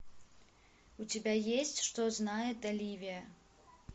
у тебя есть что знает оливия